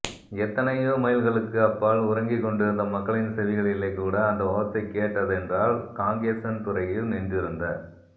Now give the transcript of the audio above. எத்தனையோ மைல்களுக்கு அப்பால் உறங்கிக் கொண்டிருந்த மக்களின் செவிகளிலே கூட அந்த ஓசை கேட்டதென்றால் காங்கேசன்துறையில் நின்றிருந்த